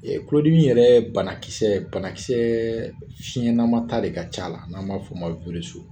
I y'a tulodimi yɛrɛ bana kisɛ bana kisɛɛ fiɲɛnama ta de ka c'a la n'an b'a f'ɔ ma w.